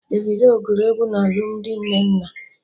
Davido gụrụ egwu na alụmdi Nnenna